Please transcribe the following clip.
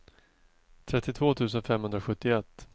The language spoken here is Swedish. trettiotvå tusen femhundrasjuttioett